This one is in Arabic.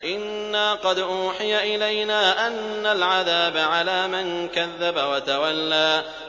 إِنَّا قَدْ أُوحِيَ إِلَيْنَا أَنَّ الْعَذَابَ عَلَىٰ مَن كَذَّبَ وَتَوَلَّىٰ